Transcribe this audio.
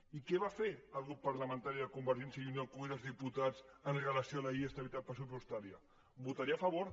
i què va fer el grup parlamentari de convergència i unió al congrés dels diputats en relació amb la llei d’estabilitat pressupostària votar hi a favor